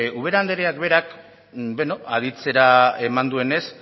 ubera andreak berak beno aditzera eman duenez